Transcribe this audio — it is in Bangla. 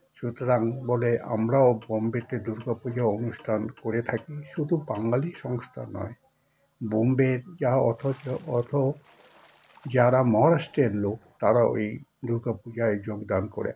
সুতরাং বলে আমরাও বোম্বে তে দূর্গা পুজোর অনুষ্ঠান করে থাকি শুধু বাঙালি সংস্থা নয় বোম্বের যা অথচ অথ যারা মহারাষ্ট্র এর লোক তারাও এই দুর্গাপুজোয় যোগদান করে